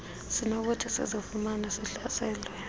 sinokuthi sizifumane sihlaselwe